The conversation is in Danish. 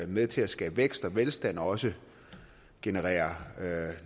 med til at skabe vækst og velstand og også generere